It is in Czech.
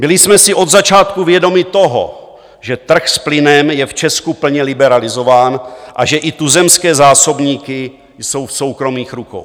Byli jsme si od začátku vědomi toho, že trh s plynem je v Česku plně liberalizován a že i tuzemské zásobníky jsou v soukromých rukou.